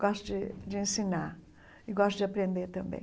Gosto de de ensinar e gosto de aprender também.